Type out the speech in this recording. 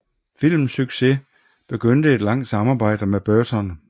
Filmens succes begyndte et langt samarbejde med Burton